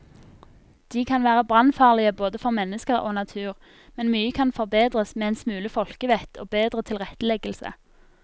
De kan være brannfarlige både for mennesker og natur, men mye kan forbedres med en smule folkevett og bedre tilretteleggelse.